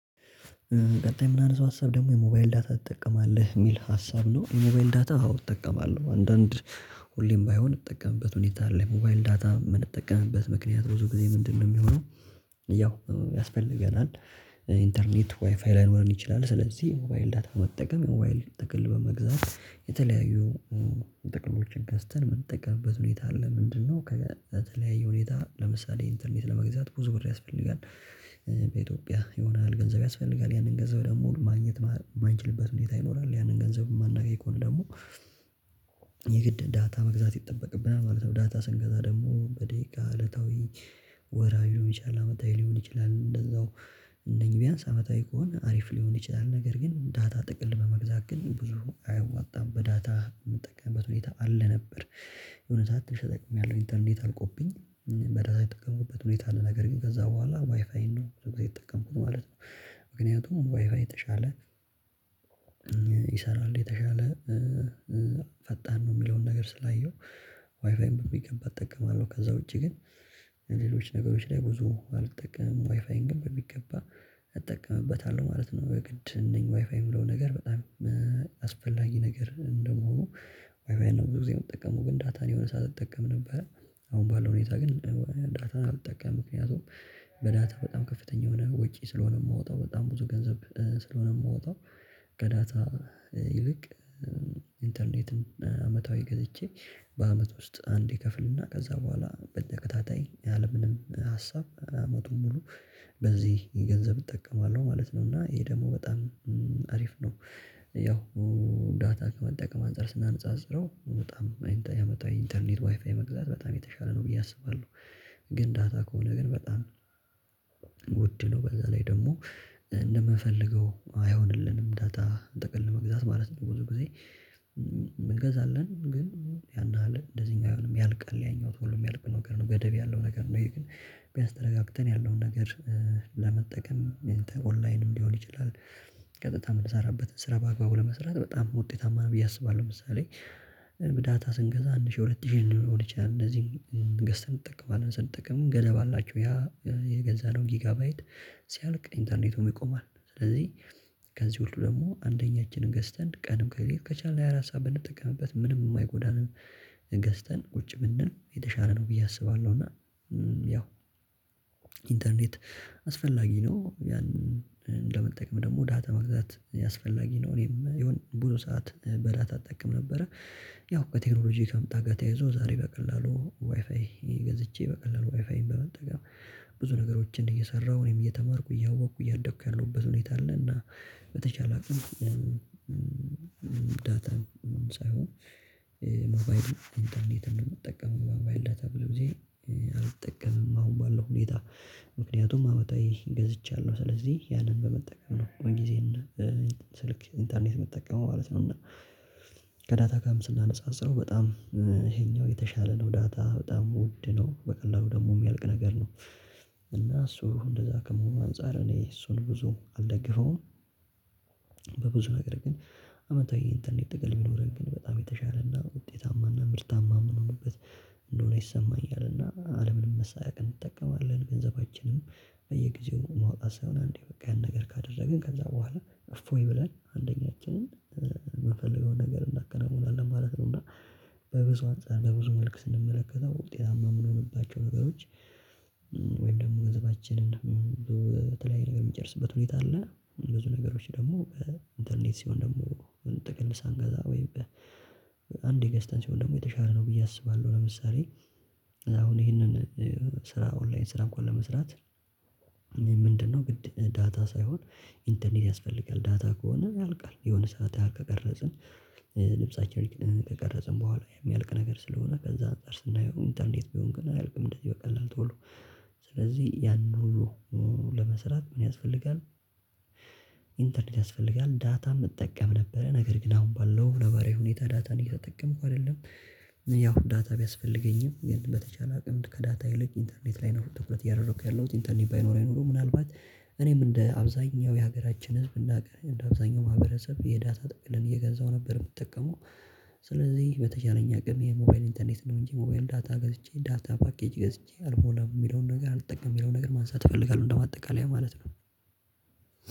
ቀጣይ ምናነሳው ሀሳብ ደግሞ የሞባይል ዳታ ትጠቀማለህ የሚል ሀሳብ ነው? የሞባይል ዳታ አዎ እጠቀማለሁ አንዳንድ ሁሌም ባይሆን እምጠቀምበት ሁኔታ አለ። ሞባይል ዳታ የምንጠቀምበት ምክንያት ብዙ ጊዜ ምንድነው የሚሆነው? ያው ያስፈልገናል ኢንተርኔት ዋይፋይ ላይኖረን ይችላል። ስለዚህ የሞባይል ዳታ መጠቀም የሞባይል ጥቅል በመግዛት የተለያዩ ጥቅሎችን ገዝተን የምንጠቀምበት ሁኔታ አለ። ምንድነው? ለተለያየ ሁኔታ ለምሳሌ ኢንተርኔት ለመግዛት ብዙ ብር ያስፈልጋል። በኢትዮጵያ የሆነ ያህል ገንዘብ ያስፈልጋል ያንን ገንዘብ ደግሞ ማግኘት የማንችልበት ሁኔታ ይኖራል ያንን ገንዘብ የማናገኝ ከሆነ ደግሞ የግድ ዳታ መግዛት ይጠበቅብናል ማለት ነው። ዳታ ስንገዛ ደግሞ በደቂቃ እለታዊ ወርሃዊ ሊሆን ይችላል አመታዊ ሊሆን ይችላል እንደዛው እነኚህ ቢያንስ አመታዊ ከሆነ አሪፍ ሊሆን ይችላል። ነገር ግን ዳታ ጥቅል በመግዛት ግን ብዙ አያዋጣም በዳታ የምጠቀምበት ሁኔታ አለ ነበር። የእውነት ያለው ኢንተርኔት አልቆብኝ በራሳችሁ የጠቀመኝበት ሁኔታ አለ። ነገር ግን ከዛ በኋላ ዋይፋይ ነው በደንብ የተጠቀምኩት ማለት ነው። ምክንያቱም ዋይፋይ የተሻለ ይሰራል የተሻለ ፈጣን ነው የሚለውን ነገር ስላየሁ ዋይፋይን በሚገባ እጠቀማለሁ። ከዛ ውጪ ግን ሌሎች ነገሮች ላይ ብዙ አልጠቀምም ዋይፋይን ግን በሚገባ እጠቀምበታለሁ ማለት ነው። በግድ እነኚህ ዋይፋይ የምለው ነገር በጣም አስፈላጊ ነገር እንደመሆኑ ዋይፋይን ነው ብዙ ጊዜ የምትጠቀመው ግን ዳታን የሆነ ሰዓት እጠቀም ነበረ። አሁን ባለው ሁኔታ ግን ዳታን አልጠቀምም ምክንያቱም በዳታ በጣም ከፍተኛ የሆነ ወጪ ስለሆነ የማወጣው በጣም ብዙ ገንዘብ ስለሆነ የምወጣው ከዳታ ይልቅ ኢንተርኔትን አመታዊ ገዝቼ በአመት ውስጥ አንዴ ከፍልና ከዛ በኋላ በተከታታይ ያለምንም ሀሳብ አመቱን ሙሉ በዚህ ገንዘብ እጠቀማለሁ ማለት ነው። እና ይሄ ደግሞ በጣም አሪፍ ነው። ያውአመታዊ ዳታ ከመጠቀም አንፃር ስናነጻጽረው በጣም ያመጣው ኢንተርኔት ዋይፋይ መግዛት በጣም የተሻለ ነው ብዬ አስባለሁ። ግን ዳታ ከሆነ ግን በጣም ውድ ነው በዛ ላይ ደግሞ እንደምፈልገው አይሆንልንም ዳታ ጠቅል ለመግዛት ማለት ነው። ብዙ ጊዜ እንገዛለን ግን ያን አለ እንደዚህኛው አይሆንም ያልቃል ያኛው ቶሎ የሚያልቅ ነገር ነው ገደብ ያለው ነገር ነው። ግን ቢያንስ ተረጋግተን ያለውን ነገር ለመጠቀም ኦንላይንም ሊሆን ይችላል ቀጥታ የምንሰራበት ስራ በአግባቡ ለመስራት በጣም ውጤታማ ነው ብዬ አስባለሁ። ለምሳሌ በዳታ ስንገዛ አንድ ሺህ ሁለት ሺህ ሊሆን ይችላል እንደዚህ እ ገዝተን እንጠቀማለን ማለት ስንጠቀም ገደብ አላቸው። ያ የገዛነው ጊጋባይት ሲያልቅ ኢንተርኔት ይቆማል። ስለዚህ ከዚህ ሁሉ ደግሞ አንደኛችንን ገዝተን ቀንም ከሌለው ከቻልን ሃያ አራት ሰዓት ብንጠቀምበት ምንም የማይጎዳንን ገዝተን ቁጭ ብንል የተሻለ ነው ብዬ አስባለሁ። እና ያው ኢንተርኔት አስፈላጊ ነው ያንን እንደምንጠቅም ደግሞ ዳታ መግዛት አስፈላጊ ነው። እኔም የሆነ ብዙ ሰዓት በዳታ አጠቀም ነበረ ያው ከቴክኖሎጂ ከመጣ ጋር ተያይዞ ዛሬ በቀላሉ ዋይፋይ ገዝቼ በቀላሉ ዋይፋይን በመጠቀም ብዙ ነገሮችን እየሰራሁ እኔም እየተማርኩ እያወቅኩ እያደኩ ያለሁበት ሁኔታ አለና። በተቻለ አቅም ዳታም ሳይሆን ኖባይድ ኢንተርኔት እንደምጠቀመውቀ ሞባይል ዳታ ብሎ ጊዜ አልጠቀምም። አሁን ባለው ሁኔታ ምክንያቱም አመታዊ ገዝቻለሁ ስለዚህ ያንን በመጠቀም ነው ጊዜና ስልክ ኢንተርኔት መጠቀም ማለት ነው። እና ከዳታ ጋር ስናነጻጽረው በጣም ይሄኛው የተሻለ ነው ዳታ በጣም ውድ ነው በቀላሉ ደግሞ የሚያልቅ ነገር ነው። እና እሱ እንደዛ ከመሆኑ አንፃር እኔ እሱን ብዙ አልደግፈውም። በብዙ ነገር ግን አመታዊ ኢንተርኔት ጥቅል ቢኖረን ግን በጣም የተሻለና ውጤታማና ምርታማ ምን ሆኖበት እንደሆነ ይሰማኛልና አለምንም መሳቀቅ እንጠቀማለን ገንዘባችንም በየጊዜው ማውጣት ሳይሆን አንዴ በቃ ያን ነገር ካደረግን ከዛ በኋላ እፎይ ብለን አንደኛችንን የምንፈልገውን ነገር እናከናውናለን ማለት ነው። እና በብዙ አንፃር በብዙ መልክ ስንመለከተው ውጤታማ የምንሆንባቸው ነገሮች ወይም ደግሞ ገንዘባችንን በተለያየ ነገር የምንጨርስበት ሁኔታ አለ። ብዙ ነገሮች ደግሞ በኢንተርኔት ሲሆን ደግሞ ጥቅል ሳንገዛ ወይም በአንዴ ገዝተን ሲሆን ደግሞ የተሻለ ነው ብዬ አስባለሁ። ለምሳሌ አሁን ይሄንን ስራ ኦንላይን ስራ እንኳን ለመስራት ምንድነው? ዳታ ሳይሆን ኢንተርኔት ያስፈልጋል። ዳታ ከሆነ ያልቃል የሆነ ሰዓት ያልቃል ከቀረጽን ልብሳቸው ከቀረጽን በኋላ የሚያልቅ ነገር ስለሆነ ከዛ አንፃር ስናየው ኢንተርኔት ቢሆን ግን አያልቅም። እንደዚህ በቀላል ቶሎ ስለዚህ ያንን ሁሉ ለመስራት ምን ያስፈልጋል ኢንተርኔት ያስፈልጋል። ዳታም እጠቀም ነበረ ነገር ግን አሁን ባለው ነባራዊ ሁኔታ ዳታን እየተጠቀምኩ አይደለም። ያው ዳታ ቢያስፈልገኝም ግን በተቻለ አቅም ከዳታ ይልቅ ኢንተርኔት ላይ ነው ትኩረት እያደረኩ ያለሁት ኢንተርኔት ባይኖረኝ ኖሮ ምናልባት እኔም እንደ አብዛኛው የሀገራችን ህዝብ እንደ አብዛኛው ማህበረሰብ የዳታ ጥቅን እየገዛሁ ነበር። የምትጠቀመው ስለዚህ በተቻለኝ አቅም የሞባይል ኢንተርኔት ነው እንጂ ሞባይል ዳታ ገዝቼ ዳታ ፓኬጅ ገዝቼ አልሞላም የሚለውን ነገር አልጠቀምም የሚለውን ነገር ማንሳት እፈልጋለሁ። እንደማጠቃለያ ማለት ነው።